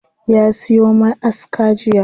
Ya siyo ma'aska jiya.